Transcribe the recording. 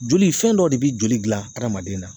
Joli fɛn dɔ de bi joli gilan hadamaden na